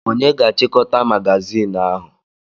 Onye ga-achịkọta magazinụ ahụ?